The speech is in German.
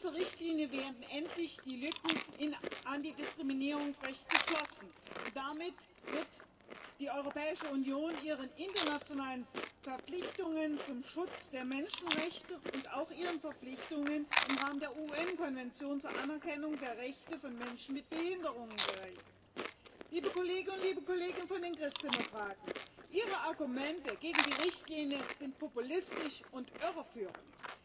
Mit dieser Richtlinie werden endlich die Lücken im Antidiskriminierungsrecht geschlossen. Und damit wird die Europäische Union ihren internationalen Verpflichtungen zum Schutz der Menschenrechte und auch ihren Verpflichtungen im Rahmen der UN Konvention zur Anerkennung der Rechte von Menschen mit Behinderungen gerecht. Liebe Kolleginnen und Kollegen von den Christdemokraten, Ihre Argumente gegen die Richtlinie sind populistisch und irreführend!